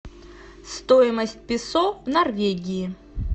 стоимость песо в норвегии